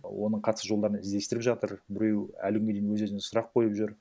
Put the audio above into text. оның қатысу жолдарын іздестіріп жатыр біреу әлі күнге дейін өз өзіне сұрақ қойып жүр